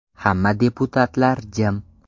Hamma deputatlar jim.